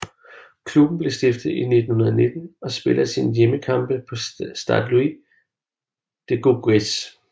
Klubben blev stiftet i 1919 og spiller sine hjemmekampe på Stade Louis Dugauguez